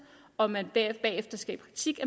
og man bagefter skal i praktik